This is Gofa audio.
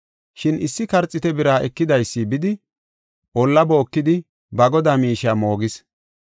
Shin issi karxiite bira ekidaysi bidi, olla bookidi, ba godaa miishiya moogis.